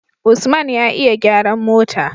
usman ya iya gyaran mota